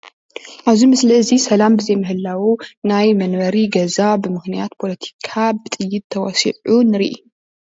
ኣብዚ ምስሊ እዚ ሰላም ብዘይ ምህላዉ ናይ መንበሪ ገዛ ብምክንያት ፖለቲካ ብጥይት ተበሲዑ ንርኢ።